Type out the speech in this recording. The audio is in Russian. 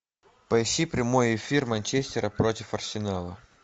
поищи прямой эфир манчестера против арсенала